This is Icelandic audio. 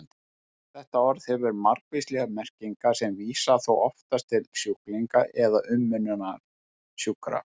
Þetta orð hefur margvíslegar merkingar sem vísa þó oftast til sjúklinga eða umönnunar sjúkra.